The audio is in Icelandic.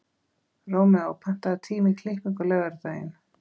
Rómeó, pantaðu tíma í klippingu á laugardaginn.